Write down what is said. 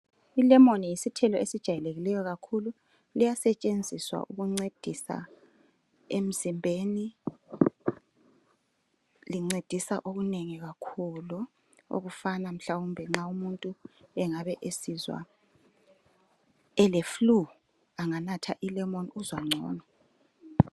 ilemoni yisithilo esiyijwayeleyo kakhulu liyisebenzisa ukuncedisa emzimbeni lincedisa okunengi kakhulu okufana mhlwawumbe umuntu esizwa ele flue enganatha ilemon uyazizwa ngcono